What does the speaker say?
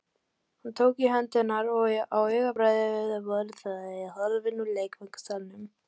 Hann tók í hönd hennar og á augabragði voru þau horfin úr leikfangasalnum.